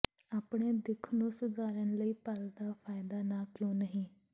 ਆਪਣੇ ਦਿੱਖ ਨੂੰ ਸੁਧਾਰਨ ਲਈ ਪਲ ਦਾ ਫਾਇਦਾ ਨਾ ਕਿਉਂ ਨਹੀਂ